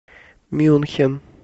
мюнхен